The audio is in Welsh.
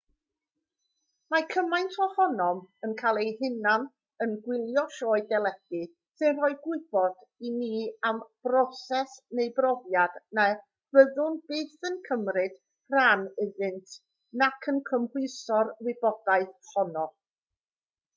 mae cymaint ohonom yn cael ei hunain yn gwylio sioe deledu sy'n rhoi gwybod i ni am broses neu brofiad na fyddwn byth yn cymryd rhan ynddynt nac yn cymhwyso'r wybodaeth honno